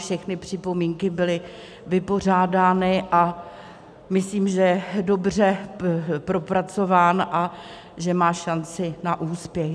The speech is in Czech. Všechny připomínky byly vypořádány a myslím, že je dobře propracován a že má šanci na úspěch.